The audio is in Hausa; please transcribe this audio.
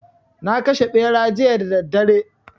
Na kashe Ɓera jiya da daddare